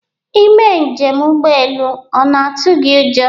Ị mee njem ụgbọelu ọ na-atụ gị ụjọ?